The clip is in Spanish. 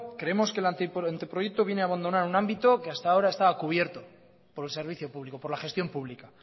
que el anteproyecto viene a abandonar a un ámbito que hasta a ahora estaba cubierto por el servicio público por la gestión pública